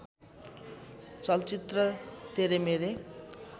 चलचित्र तेरे मेरे